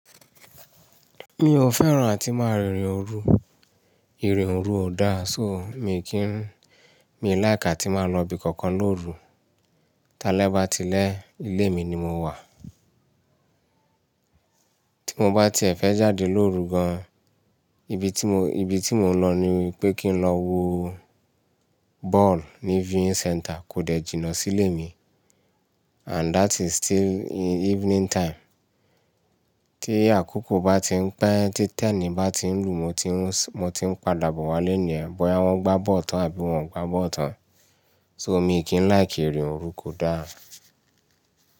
Mi ò fẹ́ràn àti máa rìnrìn òru, ìrìn òru ò dáa. So, miì kì í, mi hin like àti máa lọbi kankan lóru. Tálẹ́ bá tilẹ̀ ilé mi ni mo wà. Tí mo bá ti ẹ́ fẹ́ jáde lóru gan-an, ibi tí mo, ibi tí mò ń lọ ni pé kí n lọ wo ball ní viewing centre kò dẹ̀ jìnà sílé mi. And that is still evening time. Tí àkókò bá tí ń pẹ́, tí tẹ́ẹ̀nì bá tí ń lù, mo tí ń, mo tí ń padà bọ̀ wálé nìyẹn, bóyá wọ́n gbá ball tán àbí wọn ò gbá ball tán. So, mi ì kì ń like ìrìn òru kò dáa.